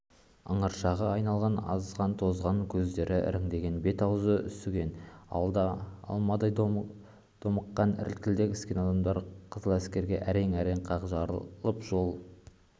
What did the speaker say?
ыңыршағы айналған азған тозған көздері іріңдеген бет-аузы үсіген алмадай домбыққан іркілдеп іскен адамдар қызыләскерге әрең-әрең қақ жарылып жол